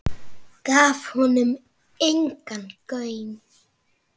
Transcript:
Gaf honum engan gaum.